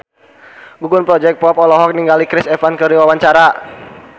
Gugum Project Pop olohok ningali Chris Evans keur diwawancara